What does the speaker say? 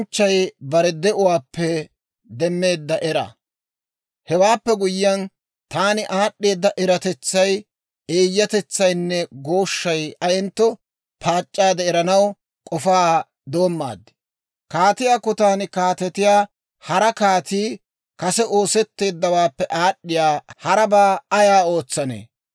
Hewaappe guyyiyaan, taani aad'd'eeda eratetsay, eeyyatetsaynne gooshshay ayentto paac'c'aade eranaw k'ofaa doommaad. Kaatiyaa kotaan kaatetiyaa hara kaatii kase oosetteeddawaappe aad'd'iyaa harabaa ay ootsanee?